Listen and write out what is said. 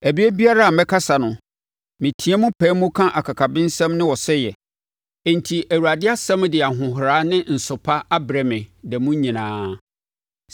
Ɛberɛ biara a mɛkasa no, meteam pae mu ka akakabensɛm ne ɔsɛeɛ. Enti Awurade asɛm de ahohora ne nsopa abrɛ me da mu nyinaa.